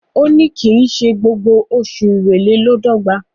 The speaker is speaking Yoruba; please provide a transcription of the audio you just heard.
òní kín ṣe gbogbo Oṣù Èrèlè ló d'ogba.